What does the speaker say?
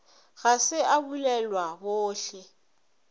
ga se a bulelwa bohle